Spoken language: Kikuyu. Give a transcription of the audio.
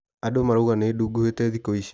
Andũ maraiaga nĩnduguhĩte thikũ ici.